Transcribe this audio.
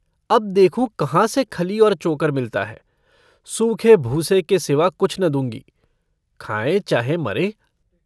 अब देखूँ कहाँ से खली और चोकर मिलता है। सूखे भूसे के सिवा कुछ न दूंँगी। खाएँ चाहे मरें।